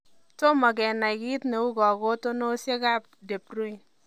Tiomo kenai kiit neuu kakotinosiek ab debryne